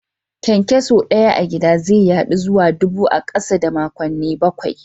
Kyankyaso Daya a gida ze yadu zuwa dubu a kasa da makonni bakwai.